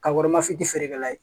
Ka warimafiti feerekɛla ye